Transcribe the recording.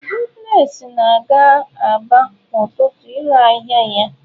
Goodness na-aga Aba kwa ụtụtụ ire ahịa ya.